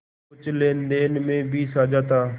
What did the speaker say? कुछ लेनदेन में भी साझा था